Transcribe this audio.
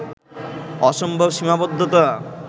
অসম্ভব সীমাবদ্ধতা